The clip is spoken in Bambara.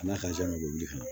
N'a ka jan ka mobili kɔnɔ